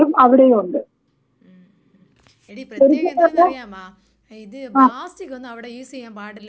ഉം ഉം എടീ പ്രത്യേകം എന്തരെന്നറിയാമോ ഇത് പ്ലാസ്റ്റിക്കൊന്നും അവിടെ യുസ്സിയാൻ പാടില്ലാന്ന് തോന്നുന്നു കെട്ടാ.